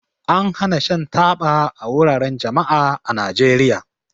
An hana shan taba a wuraren jama'a a Najeriya.